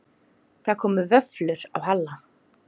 Það komu vöflur á Halla.